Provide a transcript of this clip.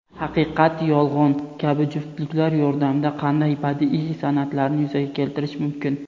"haqiqat-yolg‘on" kabi juftliklar yordamida qanday badiiy san’atlarni yuzaga keltirish mumkin?.